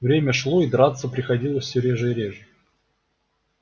время шло и драться приходилось всё реже и реже